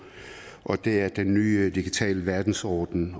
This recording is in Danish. og det er den nye digitale verdensorden